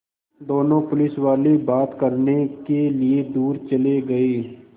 दोनों पुलिसवाले बात करने के लिए दूर चले गए